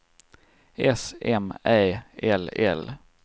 S M Ä L L